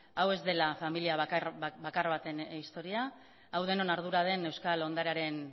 hau ez dela familia bakar baten historia hau denon ardura den euskal ondarearen